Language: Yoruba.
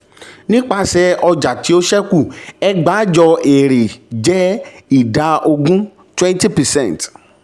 nípasẹ̀ ọjà tí ó ṣẹ́kù ẹgbàajọ èrè jẹ́ ìdá ogún twenty percent.